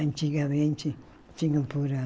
Antigamente tinha um